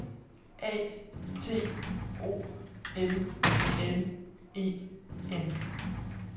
A T O L L E N